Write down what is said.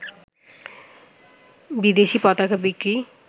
বিদেশী পতাকা বিক্রি